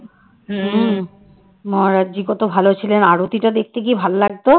মহারাজ জি কত ভালো ছিলেন আরোতিটা দেখতে কি ভালো লাগতো